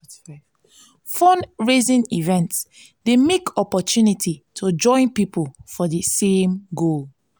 fundraising events dey mek opportunity to join pipo for di same goal.